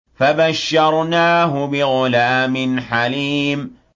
فَبَشَّرْنَاهُ بِغُلَامٍ حَلِيمٍ